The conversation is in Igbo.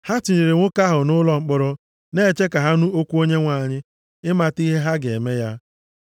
Ha tinyere nwoke ahụ nʼụlọ mkpọrọ na-eche ka ha nụ okwu Onyenwe anyị, ịmata ihe ha ga-eme ya.